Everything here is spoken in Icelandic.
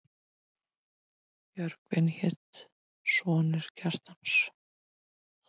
Björgvin hét sonur Kjartans.